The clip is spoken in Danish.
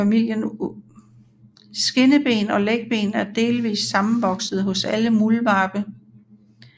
Skinneben og lægben er delvist sammenvoksede hos alle muldvarpe